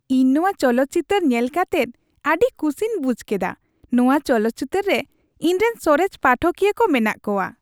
ᱤᱧ ᱱᱚᱶᱟ ᱪᱚᱞᱚᱛ ᱪᱤᱛᱟᱹᱨ ᱧᱮᱞ ᱠᱟᱛᱮᱫ ᱟᱹᱰᱤ ᱠᱩᱥᱤᱧ ᱵᱩᱡᱷ ᱠᱮᱫᱟ ᱾ ᱱᱚᱶᱟ ᱪᱚᱞᱚᱛ ᱪᱤᱛᱟᱹᱨ ᱨᱮ ᱤᱧᱨᱮᱱ ᱥᱚᱨᱮᱥ ᱯᱟᱴᱷᱚᱠᱤᱭᱟᱹ ᱠᱚ ᱢᱮᱱᱟᱜ ᱠᱚᱣᱟ ᱾